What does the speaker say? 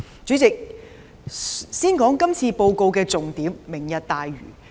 主席，先談談今次施政報告的重點——"明日大嶼"。